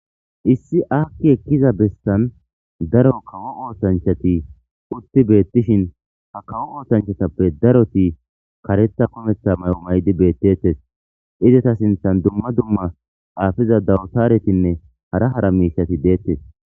Issi aakki ekkiza bessan daro kawo oosanchati utti beetishin ha kawo oosanchatape daroti kareththa kumeththa mayo mayidi beetetees; izeta sinththan dumma dumma xaafiza dawtaretinne hara hara miishshati de'etees.